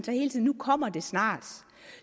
nu kommer det snart